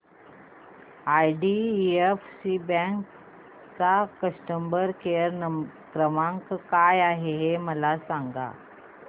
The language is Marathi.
आयडीएफसी बँक चा कस्टमर केयर क्रमांक काय आहे हे मला सांगा